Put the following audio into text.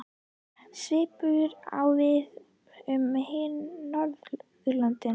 Svipað á við um hin Norðurlöndin.